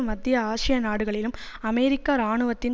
மத்திய ஆசிய நாடுகளிலும் அமெரிக்க இராணுவத்தின்